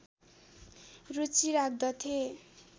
रुचि राख्दथे